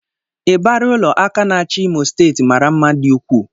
Ịbarị ụlọ aka na-achị Imo steeti mara mma dị ukwuu